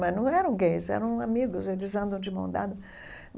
Mas não eram gays, eram amigos, eles andam de mão dada.